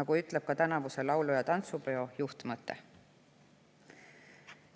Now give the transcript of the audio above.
nagu ütleb tänavuse laulu‑ ja tantsupeo juhtmõte.